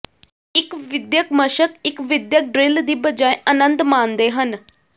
ਇੱਕ ਵਿਦਿਅਕ ਮਸ਼ਕ ਇੱਕ ਵਿਦਿਅਕ ਡ੍ਰਿੱਲ ਦੀ ਬਜਾਏ ਆਨੰਦ ਮਾਣਦੇ ਹਨ